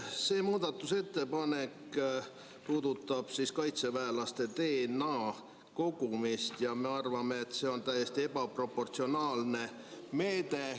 See muudatusettepanek puudutab kaitseväelaste DNA kogumist ja me arvame, et see on täiesti ebaproportsionaalne meede.